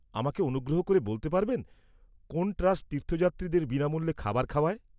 -আমাকে অনুগ্রহ করে বলতে পারবেন, কোন ট্রাস্ট তীর্থযাত্রীদের বিনামূল্যে খাবার খাওয়ায়?